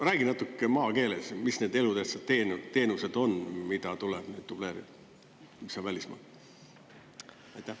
Räägi natuke maakeeles, mis need elutähtsad teenused on, mida tuleb dubleerida, mis on välismaal?